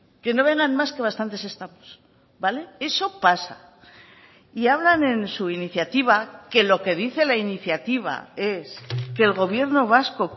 que no vengan más que bastantes estamos vale eso pasa y hablan en su iniciativa que lo que dice la iniciativa es que el gobierno vasco